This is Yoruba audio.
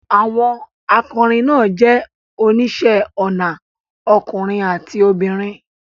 Àwọn akọrin náà jẹ́ oníṣẹ́ ọnà ọkùnrin àti obìnrin